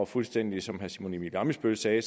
fuldstændig som herre simon emil ammitzbøll sagde